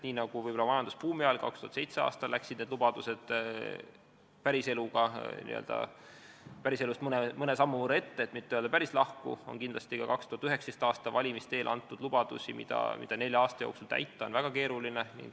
Nii nagu võib-olla majandusbuumi ajal 2007. aastal läksid lubadused päriselust mõne sammu võrra ette, kui mitte öelda, et sellest päris lahku, anti kindlasti ka 2019. aasta valimiste eel lubadusi, mida nelja aasta jooksul täita on väga keeruline.